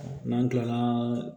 N'an kilala